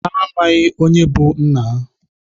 Ha amaghị onye bụ nna ha.